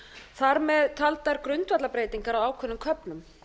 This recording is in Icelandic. þar með taldar grundvallarbreytingar á ákveðnum köflum